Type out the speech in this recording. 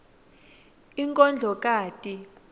inkondlokati